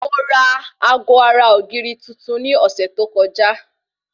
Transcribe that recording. Mo ra aago ara ògiri tuntun ní ọ̀sẹ̀ tó kọjá